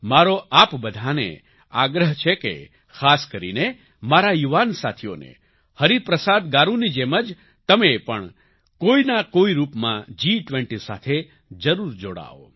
મારો આપ બધાને આગ્રહ છે કે ખાસ કરીને મારા યુવાન સાથીઓને હરિપ્રસાદ ગારૂની જેમ જ તમે પણ કોઈના કોઈ રૂપમાં જી20 સાથે જરૂર જોડાવ